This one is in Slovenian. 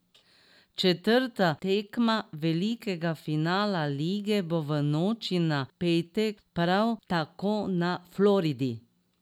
Četrta tekma velikega finala lige bo v noči na petek prav tako na Floridi.